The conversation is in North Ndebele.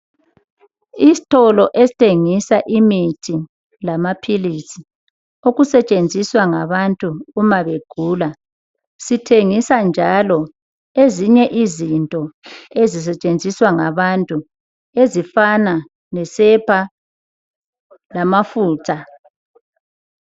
Istolo esthengisa imithi lamaphilizi okusetshenziswa ngabantu mabegula sithengisa ezinye izinto ezisetshenziswa ngabantu ezifana lesepa lamafutha.